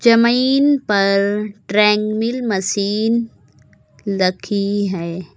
जमीन पर treadmill machine लखी है।